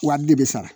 Wari de bɛ sara